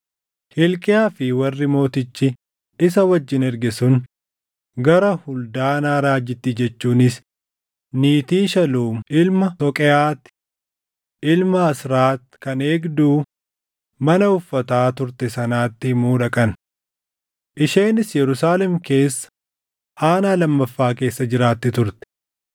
Hilqiyaa fi warri mootichi isa wajjin erge sun gara Huldaanaa raajittii jechuunis niitii Shaluum ilma Toqeʼaati, ilma Hasraat kan eegduu mana uffataa turte sanatti himuu dhaqan. Isheenis Yerusaalem keessa aanaa lammaffaa keessa jiraatti turte.